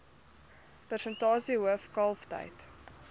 persentasie hoof kalftyd